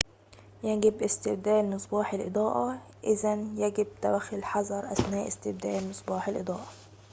يجب استبدال مصباح الإضاءة إذاً يجب توخّي الحذر أثناء استبدال مصباح الإضاءة